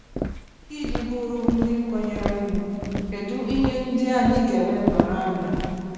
Iji bụrụ ndị kwenyerenu, kedụ ihe ndị anyị ga elebara anya?